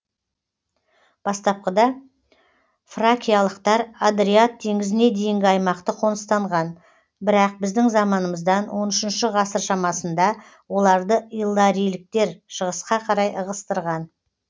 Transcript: бастапқыда фракиялықтар адриат теңізіне дейінгі аймақты қоныстанған бірақ біздің заманымыздан он үшінші ғасыр шамасында оларды илларийліктер шығысқа қарай ығыстырған